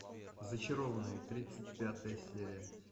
зачарованные тридцать пятая серия